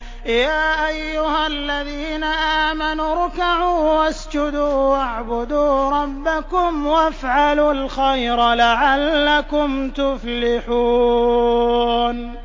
يَا أَيُّهَا الَّذِينَ آمَنُوا ارْكَعُوا وَاسْجُدُوا وَاعْبُدُوا رَبَّكُمْ وَافْعَلُوا الْخَيْرَ لَعَلَّكُمْ تُفْلِحُونَ ۩